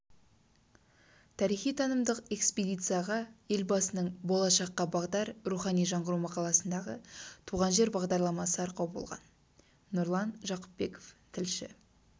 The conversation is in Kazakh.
тарихи-танымдық экспедицияға елбасының болашаққа бағдар рухани жаңғыру мақаласындағы туған жер бағдарламасы арқау болған нұрлан жақыпбеков тілші